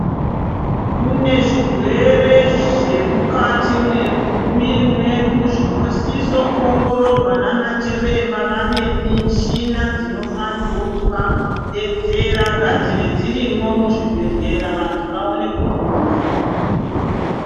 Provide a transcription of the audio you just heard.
Kune zvirwere zvemukati mwemuiri mwedu zvinosiso kuongororwa nanachiremba vane michina dzinofanirwo kuvabetsera. Ngadzive dzirimwo muzvibhedhlera vantu vaone kupona.